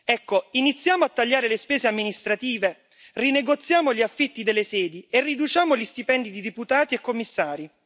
Ecco, iniziamo a tagliare le spese amministrative, rinegoziamo gli affitti delle sedi e riduciamo gli stipendi di deputati e commissari.